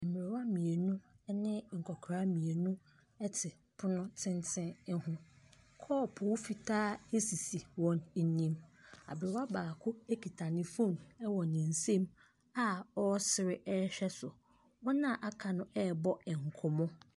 Mmerwa mmienu ne nkɔkora mmienu te pono tenten ho, kɔɔpo fitaa sisi wɔn anim. Aberwa baako kita ne phone wɔ ne nsam a ɔresere hwɛ so. Wɔn a aka no ɛrebɔ nkɔmmɔ.